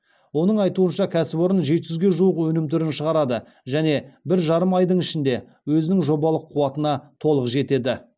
оның айтуынша кәсіпорын жеті жүзге жуық өнім түрін шығарады және бір жарым айдың ішінде өзінің жобалық қуатына толық жетеді